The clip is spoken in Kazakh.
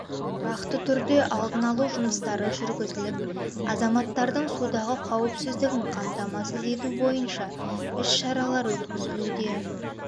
тұрақты түрде алдын алу жұмыстары жүргізіліп азаматтардың судағы қауіпсіздігін қамтамасыз ету бойынша іс шаралар өткізілуде